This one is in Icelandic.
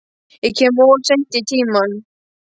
Ég kem of seint í tímann.